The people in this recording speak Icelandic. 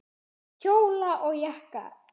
Kjóla og jakka.